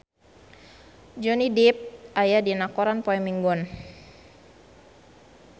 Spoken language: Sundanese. Johnny Depp aya dina koran poe Minggon